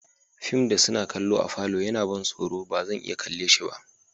Fim da suna kalla a'falo ya na ban soro ba zan iya kalle si ba.